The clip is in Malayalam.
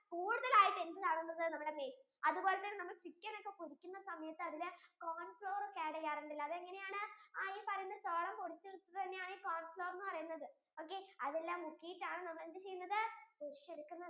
കൂടുതൽ ആയിട്ടു എന്ത് കാണുന്നത് നമ്മുടെ maize അതുപോലെ തന്നെ നമ്മൾ chicken ഒക്ക്കെ പൊരിക്കുന്ന സമയത്തു അതില് corn flour ഓകെ add ചെയ്യാറുണ്ടാലേ അത് എങ്ങനെ ആണ് ഈ പറയുന്ന ചോളം പൊടിച്ചു വെക്കുന്നതിനെ ആണ് ഈ corn flower എന്ന് പറയുന്നത് okkay അതെല്ലാം മുക്കിട്ടാണ് നമ്മൾ എന്ത് ചെയ്യുന്നത് പൊരിച്ചു എടുക്കുന്നത്